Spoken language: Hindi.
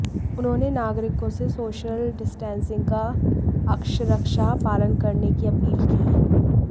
उन्होंने नागरिकों से सोशल डिस्टेंसिंग का अक्षरशः पालन करने की अपील की